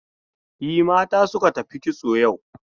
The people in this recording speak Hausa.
E, mata suka tafi kitso yau.